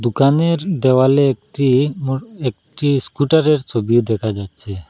দুকানের দেওয়ালে একটি নূর একটি স্কুটারের ছবি দেকা যাচ্ছে।